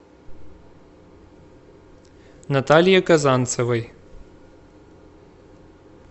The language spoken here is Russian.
наталье казанцевой